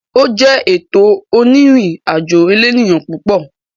Ó jẹ́ ètò onírìn àjò elénìyàn púpọ̀.